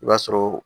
I b'a sɔrɔ